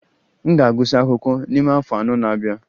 M ga-agụsị akwụkwọ n'ime afọ anọ na-abia